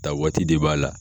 Ta waati de b'a la.